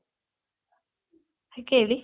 ಕೇಳಿ